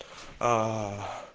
аа